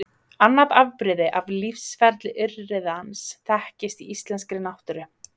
Annað afbrigði af lífsferli urriðans þekkist í íslenskri náttúru.